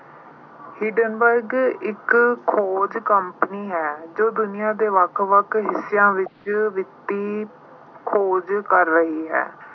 Hindenburg ਇੱਕ ਖੋਜ ਕੰਪਨੀ ਹੈ, ਜੋ ਦੁਨੀਆਂ ਦੇ ਵੱਖ ਵੱਖ ਹਿੱਸਿਆਂ ਅਹ ਵਿੱਚ ਵਿੱਤੀ ਖੋਜ ਕਰ ਰਹੀ ਹੈ।